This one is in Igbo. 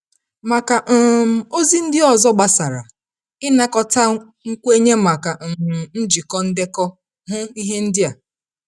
Maka um ozi ndị ọzọ gbasara ịnakọta nkwenye maka um njikọ ndekọ, hụ ihe ndị a.